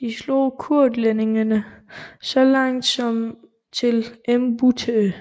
De slog kurlændingene så langt som til Embūte